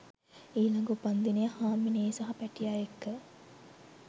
ඊලඟ උපන්දිනය හාමිනේ සහ පැටිය එක්ක